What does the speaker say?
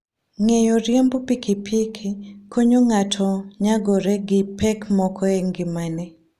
Ng'eyo riembo pikipiki konyo ng'ato nyagore gi pek moko e ngimane.